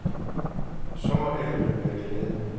Så må alle vel være glade.